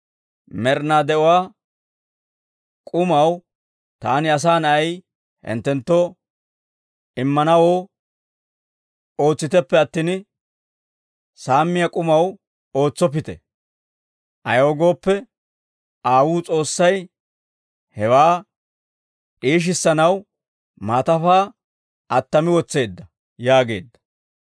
Med'inaa de'uwaa k'umaw, taani Asaa Na'ay hinttenttoo immanawoo, ootsiteppe attin, samiyaa k'umaw ootsoppite; ayaw gooppe, Aawuu S'oossay hewaa d'iishissanaw maatafaa attami wotseedda» yaageedda.